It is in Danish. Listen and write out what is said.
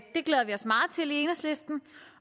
enhedslisten